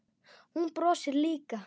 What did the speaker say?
Hún brosir líka.